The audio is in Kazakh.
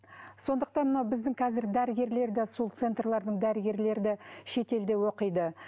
сондықтан мынау біздің қазір дәрігерлер де сол центрлердің дәрігерлері де шетелде оқиды